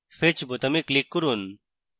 fetch বোতামে click করুন